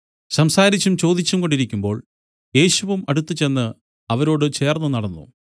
സംസാരിച്ചും ചോദിച്ചും കൊണ്ടിരിക്കുമ്പോൾ യേശുവും അടുത്തുചെന്ന് അവരോട് ചേർന്നുനടന്നു